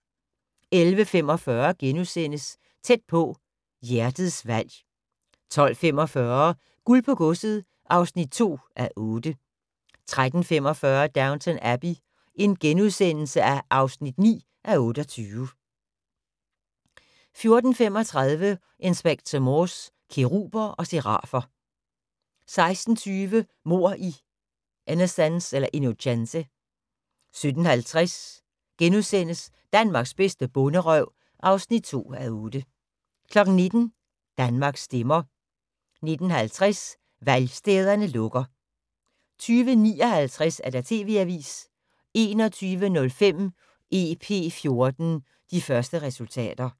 11:45: Tæt på: Hjertets valg * 12:45: Guld på godset (2:8) 13:45: Downton Abbey (9:28)* 14:35: Inspector Morse: Keruber og serafer 16:20: Mord i Innocence 17:50: Danmarks bedste bonderøv (2:8)* 19:00: Danmark stemmer 19:50: Valgstederne lukker 20:59: TV-avisen 21:05: EP14: De første resultater